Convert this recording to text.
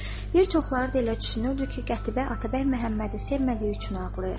Bir çoxları da elə düşünürdü ki, Qətibə Atabəy Məhəmmədi sevmədiyi üçün ağlayır.